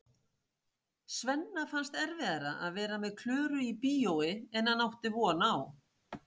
Svenna fannst erfiðara að vera með Klöru í bíói en hann átti von á.